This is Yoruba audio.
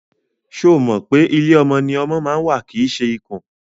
Ṣo mọ̀ pé ilé ọmọ ni ọmọ ma ń wà kìí ṣe ikùn?